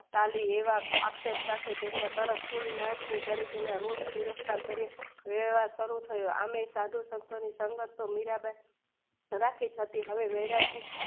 કાલી એવા અક્ષર સાથે તેમના ત્રણ કુંડ ના તરીકેના રોસ પૂરતા શરીર સારું થયો એમની સાધુ સંતોની સંગત મીરાબેન ધારા થઇ જતી હવે વેયરાગી